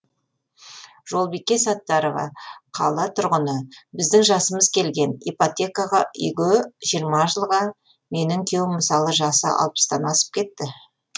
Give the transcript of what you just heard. жолбике саттарова қала тұрғыны біздің жасымыз келген ипотекаға үйге жиырма жылға менің күйеуім мысалы жасы алпыстан асып кетті